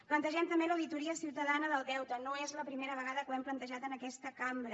plantegem també l’auditoria ciutadana del deute no és la primera vegada que ho hem plantejat en aquesta cambra